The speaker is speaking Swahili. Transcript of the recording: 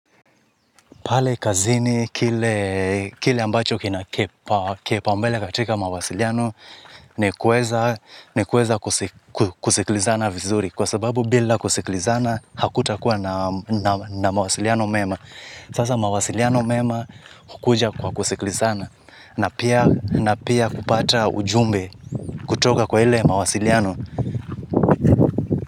Pale kazini kile ambacho kina kipaombele katika mawasiliano ni kuweza ni kuweza kusikilizana vizuri kwa sababu bila kusikilizana hakutakuwa na mawasiliano mema sasa mawasiliano mema hukuja kwa kusikilizana na pia kupata ujumbe kutoka kwa ile mawasiliano.